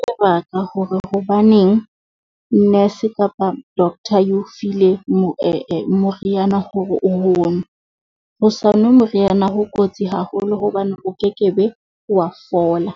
Sebaka hore hobaneng nurse kapa doctor eo file moriana hore o ho nwe, ho sa nwe moriana ho kotsi haholo hobane o kekebe wa fola.